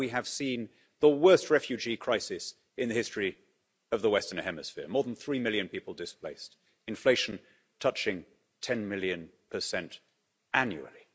Now we have seen the worst refugee crisis in the history of the Western Hemisphere more than 3 million people displaced, inflation touching 10 million annually.